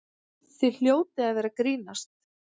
Þið hljótið að vera að grínast!